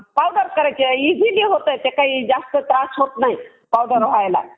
काय अक्षय अर आकाश काय करतो आहे?